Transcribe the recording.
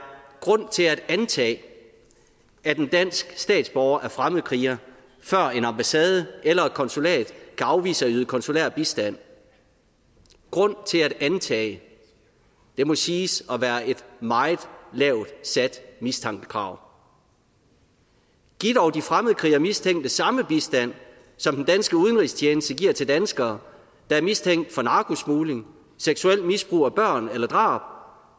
grund til at antage at en dansk statsborger er fremmedkriger før en ambassade eller et konsulat kan afvise at yde konsulær bistand grund til at antage det må siges at være et meget lavt sat mistankekrav giv dog de fremmedkrigermistænkte samme bistand som den danske udenrigstjeneste giver til danskere der er mistænkt for narkosmugling seksuelt misbrug af børn eller drab